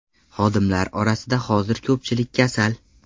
Xodimlar orasida hozir ko‘pchilik kasal.